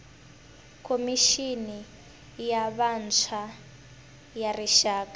khomixini ya vantshwa ya rixaka